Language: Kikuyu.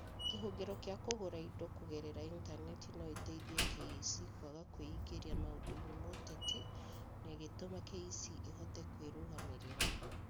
Kĩhũngĩro kĩa kũgũra indo kũgerera Intaneti no ĩteithie KEC kwaga kwĩingĩria maũndũ-inĩ ma ũteti na ĩgĩtũma KEC ĩhote kwĩrũgamĩrĩra